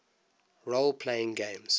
role playing games